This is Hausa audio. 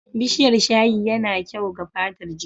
Bishiyar shayi ya na kyau ga fatar jiki.